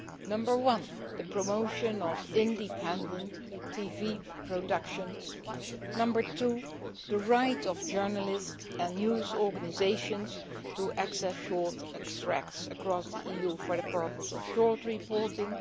Number one the promotion of independent TV productions number two the right of journalists and news organisations to access short extracts across the EU for the purpose of short reporting